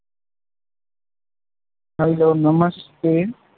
hello Namaste